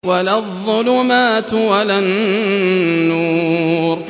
وَلَا الظُّلُمَاتُ وَلَا النُّورُ